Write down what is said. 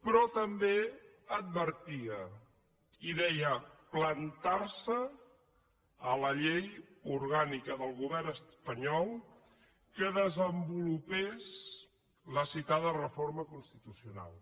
però també advertia i deia plantar se a la llei orgànica del govern espanyol que desenvolupés la citada reforma constitucional